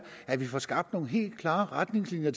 at vi får skabt nogle helt klare retningslinjer